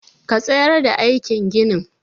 Ka tsayar da aikin ginin!